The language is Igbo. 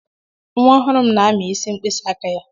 Nwa ọhụrụ m na-amị isi mkpịsị aka ya.